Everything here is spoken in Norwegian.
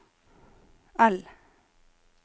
L